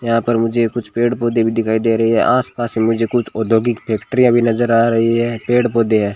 यहां पर मुझे कुछ पेड़ पौधे भी दिखाई दे रही है आसपास में मुझे कुछ औद्योगिक फैक्ट्रीया भी नजर आ रही है पेड़ पौधे है।